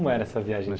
Como era essa viagem de